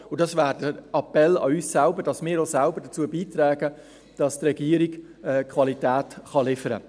Das wäre der Appell an uns selbst, dass wir auch selbst dazu beitragen, dass die Regierung Qualität liefern kann.